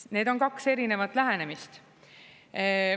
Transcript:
Need on kaks erinevat lähenemist.